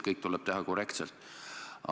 Kõik tuleb teha korrektselt.